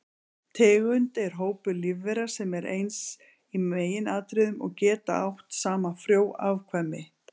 Tegund er hópur lífvera sem eru eins í meginatriðum og geta átt saman frjó afkvæmi.